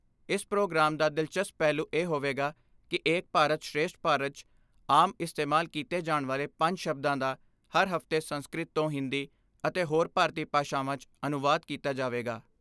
ਇਸ ਪ੍ਰੋਗਰਾਮ ਦਾ ਦਿਲਚਸਪ ਪਹਿਲੂ ਇਹ ਹੋਵੇਗਾ ਕਿ ਏਕ ਭਾਰਤ ਸ੍ਰੇਸਟ ਭਾਰਤ 'ਚ ਆਮ ਇਸਤੇਮਾਲ ਕੀਤੇ ਜਾਣ ਵਾਲੇ ਪੰਜ ਸ਼ਬਦਾਂ ਦਾ ਹਰ ਹਫ਼ਤੇ ਸੰਸਕ੍ਰਿਤ ਤੋਂ ਹਿੰਦੀ ਅਤੇ ਹੋਰ ਭਾਰਤੀ ਭਾਸ਼ਾਵਾਂ 'ਚ ਅਨੁਵਾਦ ਕੀਤਾ ਜਾਵੇਗਾ।